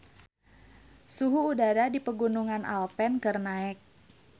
Suhu udara di Pegunungan Alpen keur naek